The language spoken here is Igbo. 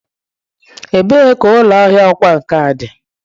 Ebee ka ụlọ ahịa ọkwá nkà dị?